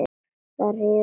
Það hýrnar yfir Klöru.